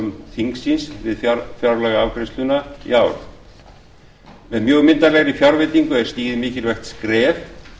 húsnæðismála þingsins við fjárlagaafgreiðsluna í ár með mjög myndarlegri fjárveitingu er stigið mikilvægt skref